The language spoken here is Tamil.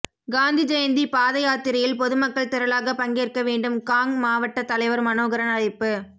காந்தி ஜெயந்தி பாதயாத்திரையில் பொதுமக்கள் திரளாக பங்கேற்க வேண்டும் காங் மாவட்ட தலைவர் மனோகரன் அழைப்பு